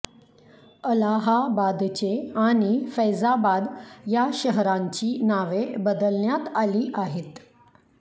अलाहाबादचे आणि फैजाबाद या शहरांची नावे बदलण्यात आली आहेत